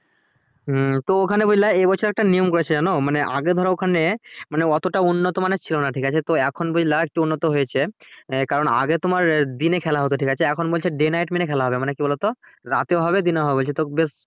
হুম তো ওখানে বুঝলা এ বছর একটা নিয়ম করেছে জানো আগে ধরো ওখানে মানে অতটা উন্নত মানের ছিল না ঠিক আছে এখন বুঝলা একটু উন্নত হয়েছে কারণ আগে তোমার দিনে খেলা হতো ঠিক আছে এখন বলছে day night মিলে খেলা হবে মানে কি বলতো রাতেও হবে দিনও হবে বলছে তো